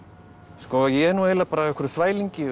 sko ég er nú eiginlega bara á einhverjum þvælingi